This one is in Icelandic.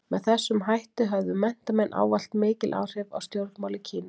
Með þessum hætti höfðu menntamenn ávallt mikil áhrif á stjórnmál í Kína.